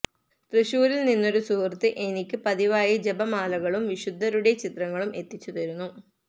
തൃശൂരില് നിന്നൊരു സുഹൃത്ത് എനിക്കു പതിവായി ജപമാലകളും വിശുദ്ധരുടെ ചിത്രങ്ങളും എത്തിച്ചു തരുന്നു